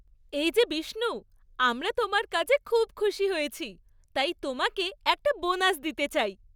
এই যে বিষ্ণু, আমরা তোমার কাজে খুব খুশি হয়েছি, তাই তোমাকে একটা বোনাস দিতে চাই।